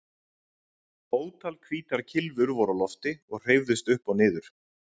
Ótal hvítar kylfur voru á lofti og hreyfðust upp og niður.